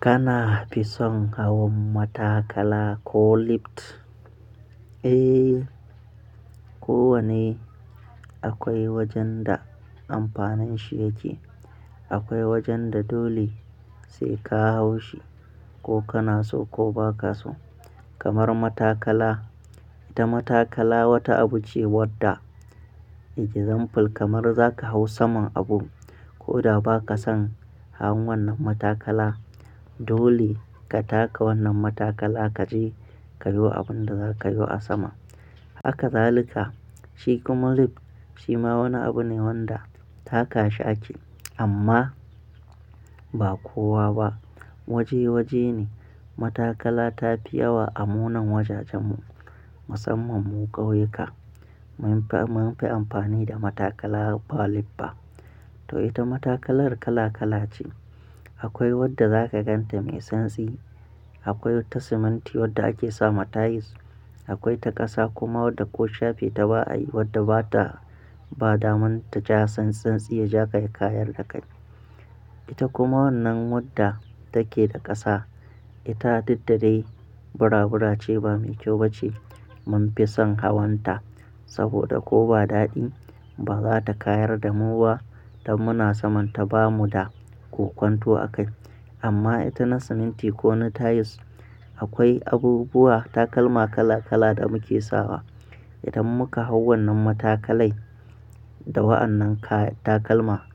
Kana fi son hawan matakala ko lift? Eh, kowane akwai wajen da amfanin shi yake. Akwai wajen da dole sai ka hau shi, ko kana so ko ba ka so. Kamar matakala, ita matakala wata abu ce wadda example kamar za ka hau saman abu ko da ba ka son hawan wannan matakala, dole ka taka wannan matakala kaji ka yo abin da zaka yo a sama. Haka zalika, shi kuma lift shi ma wani abu ne wanda taka shi ake amma ba kowa ba. Waje waje ne matakala ta fi yawa a munan wajajen mu, musamman mu kauyuka. Mun fi amfani da matakala ba lift ba. To ita matakalar kala kala ce. Akwai wadda za ka ganta mai santsi, akwai wata siminti wadda ake sama tiles, akwai ta ƙasa kuma wadda ko shafe ta ba a yi wadda ba ta, ba damun ta ja san san tsi ya ja ka ya kayar da kai. Ita kuma wannan wadda take da ƙasa, ita diddare burabura ce ba mai kyau ba ce mun fi son hawanta saboda ko ba daɗi ba za ta kayar da mu ba idan muna sa manta ba mu da ko kwanto a kai. Amma ita na siminti ko na tiles, akwai abubuwa takalma kala kala da muke sawa. Idan muka hau wannan matakalai da wa'annan ka takalma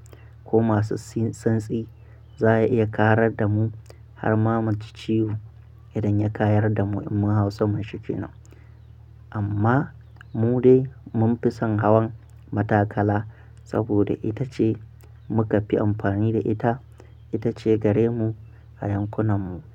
ko masu santsi, za ya iya karar da mu har ma mu ji ciwo idan ya kayar da mu in mun hau saman shi kenan. Amma mu dai mun fi son hawan matakala saboda ita ce muka fi amfani da ita, ita ce gare mu a yankunan mu.